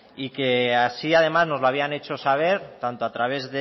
y que así además nos lo habían hecho saber tanto a través